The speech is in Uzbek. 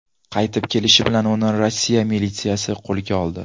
Qaytib kelishi bilan uni Rossiya militsiyasi qo‘lga oldi.